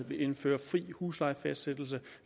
vil indføre fri huslejefastsættelse